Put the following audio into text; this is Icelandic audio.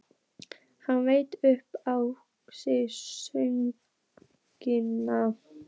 Hann veit upp á sig sökina.